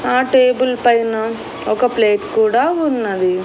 ఆ టేబుల్ పైన ఒక ప్లేట్ కూడా ఉన్నవి.